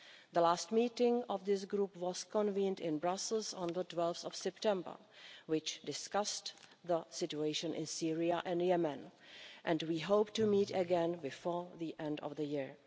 The last meeting of this group was convened in Brussels on 12 September and discussed the situation in Syria and Yemen, and we hope to meet again before the end of the year.